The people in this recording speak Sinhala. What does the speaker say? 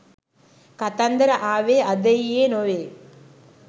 කතන්දර ආවේ අද ඊයේ නොවේ.